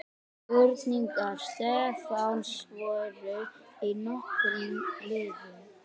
Spurningar Stefáns voru í nokkrum liðum.